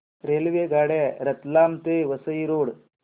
रेल्वेगाड्या रतलाम ते वसई रोड